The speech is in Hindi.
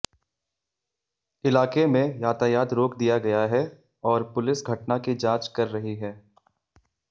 इलाके में यातायात रोक दिया गया है और पुलिस घटना की जांच कर रही है